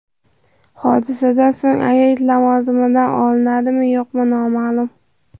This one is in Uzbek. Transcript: Hodisadan so‘ng agent lavozimdan olinadimi, yo‘qmi noma’lum.